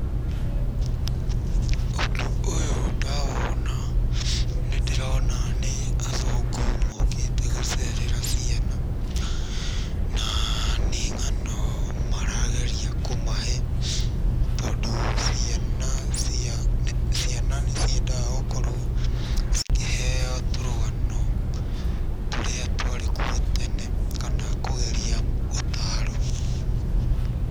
Ũndũ ũyũ ndawona nĩ ndĩrona nĩ athũngũ mokĩte gũcerera ciana na nĩ ng'ano marageria kũmahe tondũ ciana cia..ciana nĩ ciendaga gũkorwo cikĩheo tũrũgano tũrĩa twarĩ kuo tene kana kũgeria gũtaarwo.